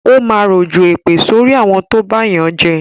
Ó máa rọ̀jọ̀ èpè sorí àwọn tó bá yànjẹ